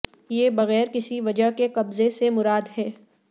یہ بغیر کسی وجہ کے قبضے سے مراد ہے